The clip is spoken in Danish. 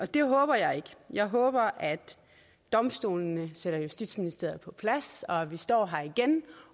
det håber jeg ikke jeg håber at domstolene sætter justitsministeriet på plads og at vi står her igen